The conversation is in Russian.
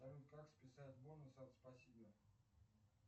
салют как списать бонусы от спасибо